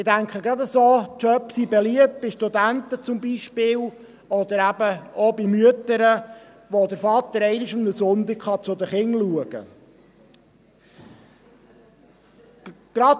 Ich denke, gerade solche Jobs sind beliebt, zum Beispiel bei Studenten oder eben auch bei Müttern, wenn der Vater einmal an einem Sonntag zu den Kindern schauen kann.